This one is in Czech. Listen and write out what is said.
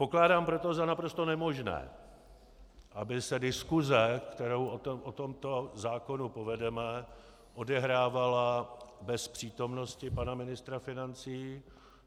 Pokládám proto za naprosto nemožné, aby se diskuse, kterou o tomto zákonu povedeme, odehrávala bez přítomnosti pana ministra financí.